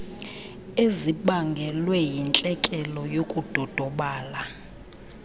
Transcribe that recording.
ezibangelwe yintlekele yokudodobala